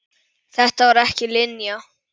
Þetta var ekki Linja.